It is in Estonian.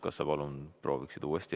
Kas sa palun prooviksid uuesti?